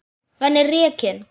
Hann er rekinn.